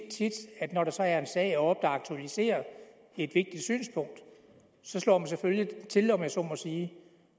at når der så er en sag oppe der aktualiserer et vigtigt synspunkt så slår man selvfølgelig til om jeg så må sige